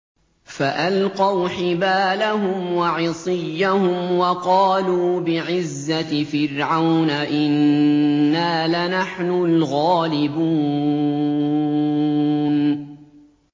فَأَلْقَوْا حِبَالَهُمْ وَعِصِيَّهُمْ وَقَالُوا بِعِزَّةِ فِرْعَوْنَ إِنَّا لَنَحْنُ الْغَالِبُونَ